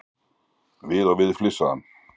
Við og við flissaði hann.